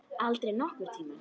Aldrei nokkurn tímann.